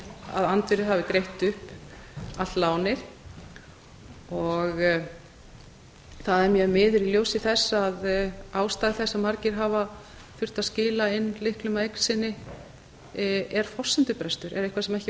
verið greitt upp allt lánið og það er mjög miður í ljósi þess að ástæða þess að margir hafa þurft að skila inn lánum að eign sinni er forsendubrestur eða eitthvað sem ekki var hægt